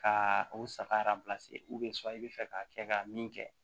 Ka u saga i bɛ fɛ ka kɛ ka min kɛ